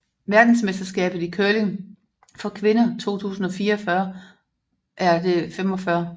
Verdensmesterskabet i curling for kvinder 2024 er det 45